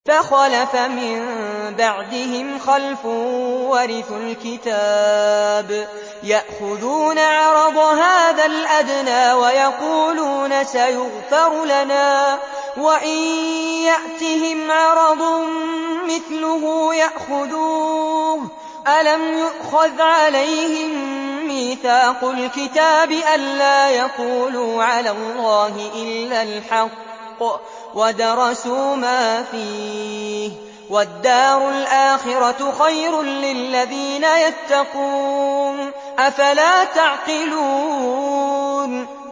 فَخَلَفَ مِن بَعْدِهِمْ خَلْفٌ وَرِثُوا الْكِتَابَ يَأْخُذُونَ عَرَضَ هَٰذَا الْأَدْنَىٰ وَيَقُولُونَ سَيُغْفَرُ لَنَا وَإِن يَأْتِهِمْ عَرَضٌ مِّثْلُهُ يَأْخُذُوهُ ۚ أَلَمْ يُؤْخَذْ عَلَيْهِم مِّيثَاقُ الْكِتَابِ أَن لَّا يَقُولُوا عَلَى اللَّهِ إِلَّا الْحَقَّ وَدَرَسُوا مَا فِيهِ ۗ وَالدَّارُ الْآخِرَةُ خَيْرٌ لِّلَّذِينَ يَتَّقُونَ ۗ أَفَلَا تَعْقِلُونَ